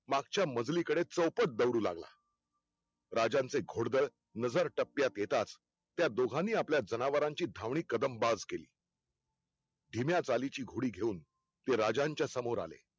मागच्या मजली कडे चौपट दौडू लागला. राज्यांचे घोडदळ नजर टप्प्यात येताच त्या दोघानी आपल्या जनावरांची धावणी कदमबाज केली. धिम्या चाली ची घोडी घेऊन ते राजांच्या समोर आले.